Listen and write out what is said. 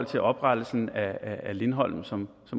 til oprettelsen af lindholm som